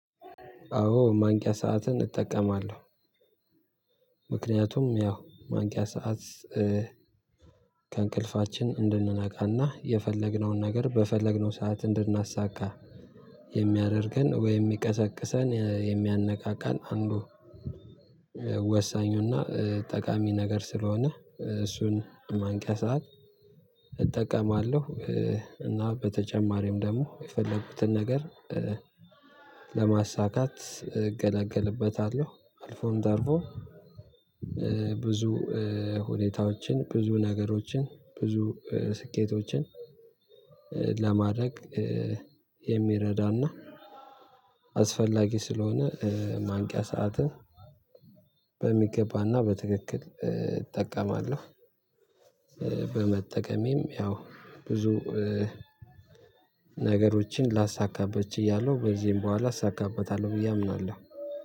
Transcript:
አዎ ማንቂያ ሰዓትን እጠቀማለሁ። ምክንያቱም ያው ማንቂያ ሰዓት ከእንቅልፋችን እንድንነቃና የፈለግነውን ነገር በፈለግነው ሰዓት እንድናሳካ የሚያደርገን ወይም የሚቀሰቅሰን የሚያነቃቃን አንዱ ወሳኙና ጠቃሚ ነገር ስለሆነ እሱን ማንቂያ ሰዓት እጠቀማለሁ። እና በተጨማሪም ደግሞ የፈለጉትን ነገር ለማሳካት እገለገልበታለሁ። አልፎም ተርፎም ብዙ ሁኔታዎችን ብዙ ነገሮችን ብዙ ስኬቶችን ለማድረግ የሚረዳና አስፈላጊ ስለሆነ ማንቂያ ሰዓትን በሚገባና በትክክል እጠቀማለሁ። በመጠቀሜም ያው ብዙ ነገሮችን ላሳካበት ችያለሁ ከዚህም በኋላ አሳካበታለሁ ብዬ አምናለሁ።